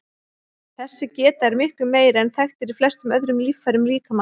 Þessi geta er miklu meiri en þekkt er í flestum öðrum líffærum líkamans.